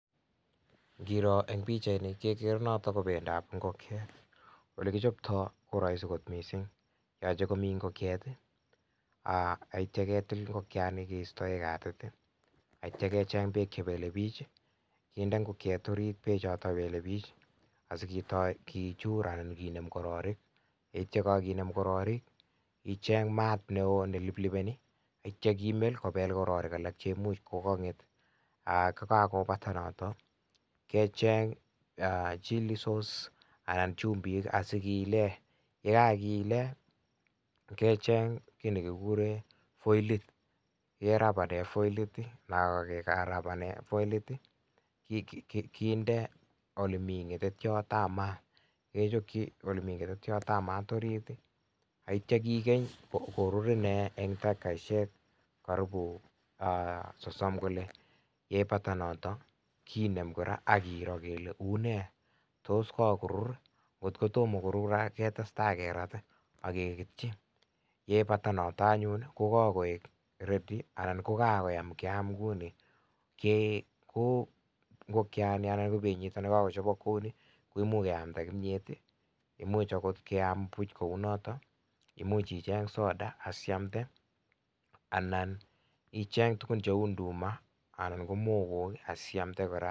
Ngiro en pichaini kegere noton ko bendab ngokiet. Ole kichoptoi koroisi kot mising. Yoche komi ngokiet ak kityo ketil ngokiani kistoen katit, ak kityo kecheng beek che belebiik kinde ngokiet orit beechoto belebiik asiketoi kechur anan kinem kororik. Ye ityo koginem kororik icheng maat neo neliplipeni ak kityo imel kobel kororik che imuch koganget ak ye kagobata noto kecheng chilli sauce anan chumbik asikobilit kiilen. Ye kagiilen kechneg kiy ne kikuren foilet, kerabanen foilit. Ye kagerabanen foilit ii, kinde ole mi ng'etetyot ab maat, kechokyi ole mi ng'etetyot ab maat orit. Ak kityo kigen korur inee en takikoishek karibu sosom kole. Ye ibata noto kinem kora ak kiroo kele unee tos kagorur ii? Ngot ko tomo korur ketestai kerat ak kegetyi, ye ibata noton anyun kokagoek ready anan ko kagoyam kyam kouni. Ngokiani anan ko benyiton kagochobok kou ni, koimuch keamda kimyet, imuch agot keam buch kounoto, imuch icheng soda asiamde, anan icheng tugun cheu nduma anan ko mogo asiiamde kora.